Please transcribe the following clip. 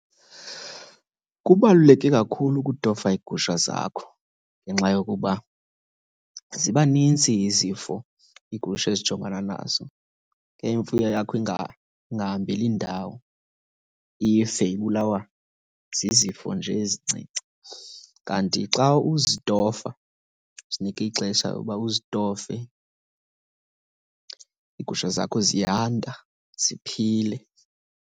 Kubaluleke kakhulu ukutofa iigusha zakho ngenxa yokuba ziba nintsi izifo iigusha ezijongana nazo, ke imfuyo yakho ingahambeli ndawo, ife ibulawa zizifo nje ezincinci. Kanti xa uzitofa, uzinike ixesha uba uzitofe, iigusha zakho ziyanda ziphile.